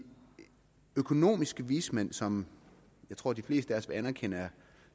økonomiske vismænd som jeg tror de fleste af os vil anerkende er